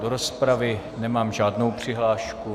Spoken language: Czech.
Do rozpravy nemám žádnou přihlášku.